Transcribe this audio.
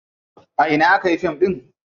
A ina aka yi fim ɗin?